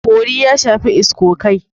Bori ya shafi iskokai.